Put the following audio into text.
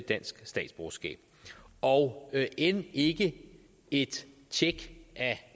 dansk statsborgerskab og end ikke et tjek